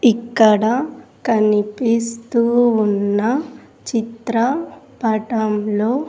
ఇక్కడ కనిపిస్తూ ఉన్న చిత్ర పటంలో --